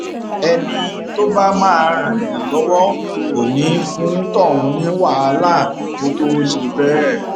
ẹni tó bá máa ràn yàn lọwọ kò ní í fún tọhún ní wàhálà kó tóó ṣe bẹẹ